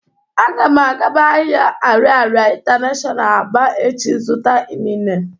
Agam agaba ahia Ariaria international Aba echi zuta inine.